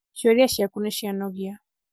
ciuria ciaku nicianogia